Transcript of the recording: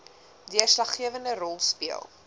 deurslaggewende rol speel